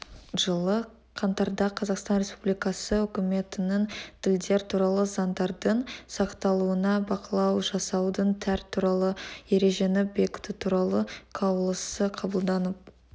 жылы қаңтарда қазақстан республикасы үкіметінің тілдер туралы заңдардың сақталуына бақылау жасаудың тәр туралы ережені бекіту туралы қаулысы қабылданып